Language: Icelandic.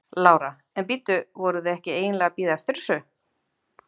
Lára: En bíddu, voruð þið ekki eiginlega að bíða eftir þessu?